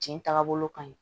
Jɛn tagabolo ka ɲi